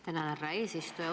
Tänan, härra eesistuja!